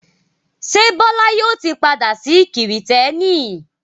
Ṣé Bọ́lá yóò ti padà sí Kìrìtẹ́ẹ́nì?